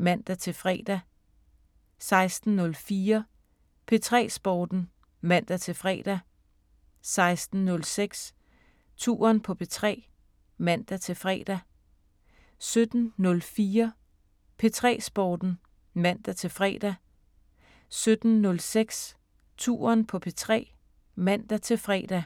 (man-fre) 16:04: P3 Sporten (man-fre) 16:06: Touren på P3 (man-fre) 17:04: P3 Sporten (man-fre) 17:06: Touren på P3 (man-fre)